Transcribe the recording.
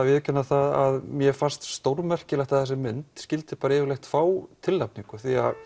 viðurkenna það að mér fannst stórmerkilegt að þessi mynd skyldi bara yfirleitt fá tilnefindu